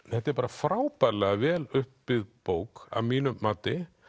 þetta er bara frábærlega vel uppbyggð bók að mínu mati